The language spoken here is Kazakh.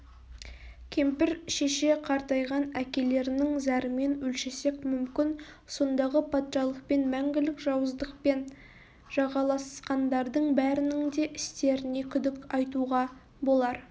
кемпір шеше қартайған әкелерінің зарымен өлшесек мүмкін сондағы патшалықпен мәңгілік жауыздықпен жағаласқандардың бәрінің де істеріне күдік айтуға болар